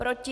Proti?